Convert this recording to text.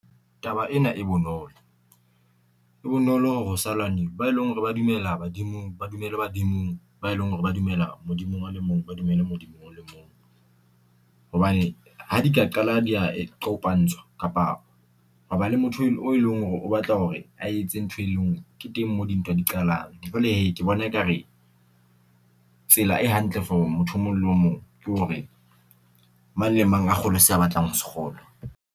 Taba ena e bonolo, e bonolo hore ho sa lwanuwa ba e leng hore ba dumela badimong, ba dumele badimong ba e leng hore ba dumela Modimong a le mong, ba dumele Modimo o le mong. Hobane ha di ka qala di a kopantshwa kapa hwa ba le motho o leng hore o batla hore a etse ntho e lengwe ke teng moo dintwa di qalang, jwale hee ke bona ekare tsela e hantle for motho o mong le o mong ke hore mang le mang a kgolwe se a batlang ho se kgolwa.